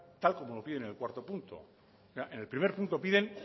tal como lo piden en el cuarto punto en el primer punto piden